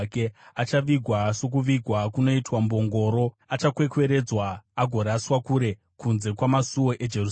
Achavigwa sokuvigwa kunoitwa mbongoro, achakwekweredzwa agoraswa kure, kunze kwamasuo eJerusarema.”